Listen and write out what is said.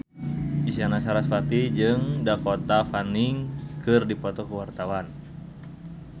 Isyana Sarasvati jeung Dakota Fanning keur dipoto ku wartawan